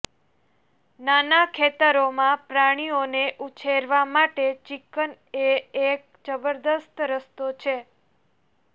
નાના ખેતરોમાં પ્રાણીઓને ઉછેરવા માટે ચિકન એ એક જબરદસ્ત રસ્તો છે